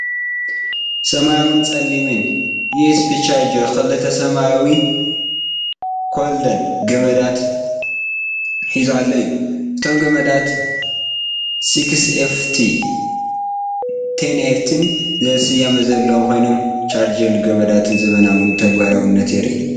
ሰማያውን ፀሊምን ዩኤስቢ ቻርጀርን ክልተ ሰማያዊ ኮይልድ ገመዳትን ሒዙ ዘሎ እዩ። እቶም ገመዳት "6FT"ን "10FT"ን ዝብል ስያመ ዘለዎም ኮይኖም፡ ቻርጀርን ገመዳትን ዘመናውን ተግባራውነቱን የርኢ።